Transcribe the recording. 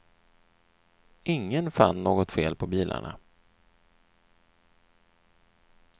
Ingen fann något fel på bilarna.